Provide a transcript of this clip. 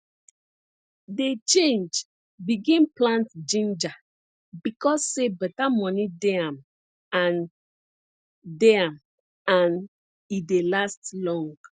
dey change begin plant ginger becos say beta moni dey am and dey am and e dey last long